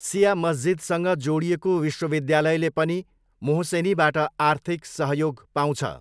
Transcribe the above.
सिया मस्जिदसँग जोडिएको विश्वविद्यालयले पनि मोहसेनीबाट आर्थिक सहयोग पाउँछ।